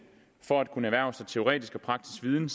for at kunne erhverve sig teoretisk og praktisk viden